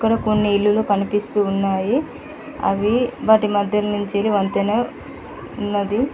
కొన్ని ఇల్లులు కనిపిస్తూ ఉన్నాయి అవి వాటి మధ్య నుంచి వంతెన ఉన్నది.